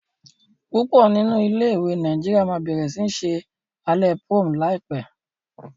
púpò nínú ilé ìwé Nàìjíríà má bẹrẹ sí ṣe Alẹ́ prom láìpé.